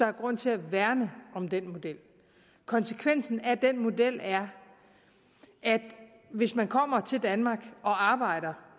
er grund til at værne om den model konsekvensen af den model er at hvis man kommer til danmark og arbejder